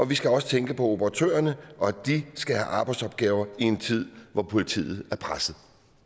vi skal også tænke på operatørerne og at de skal have arbejdsopgaver i en tid hvor politiet er presset